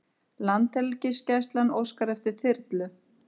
Landhelgisgæslan óskar eftir þyrlu